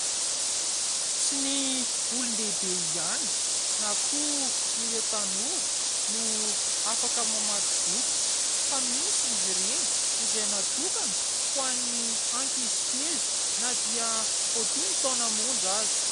Tsy ny olon-dehibe ihany na koa ireo tanora no afaka mamaky boky fa misy izy ireny izay natokana ho an'ny ankizy kely na dia vao dimy taona monja aza.